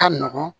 Ka nɔgɔn